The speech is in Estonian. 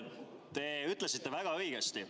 Te ütlesite väga õigesti.